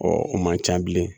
o man ca bilen